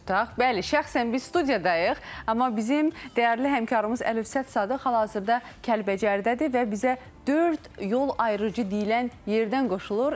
Bəli, şəxsən biz studiyadayıq, amma bizim dəyərli həmkarımız Əlövsət Sadıq hal-hazırda Kəlbəcərdədir və bizə dörd yol ayrıcı deyilən yerdən qoşulur.